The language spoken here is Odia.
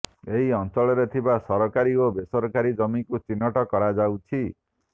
ଏହି ଅଞ୍ଚଳରେ ଥିବା ସରକାରୀ ଓ ବେସରକାରୀ ଜମିକୁ ଚିହ୍ନଟ କରାଯାଉଛି